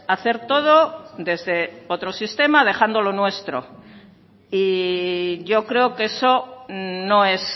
hacer todo desde otro sistema dejando lo nuestro y yo creo que eso no es